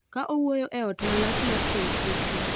Ka owuoyo e ot malach mar St Petro